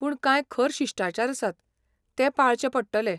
पूण कांय खर शिश्टाचार आसात, ते पाळचे पडटले.